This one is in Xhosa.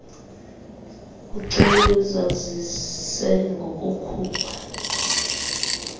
kuceliwe azazise ngokukhupha